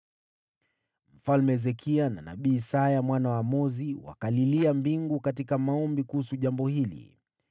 Mfalme Hezekia na nabii Isaya mwana wa Amozi wakalilia mbingu katika maombi kuhusu jambo hili.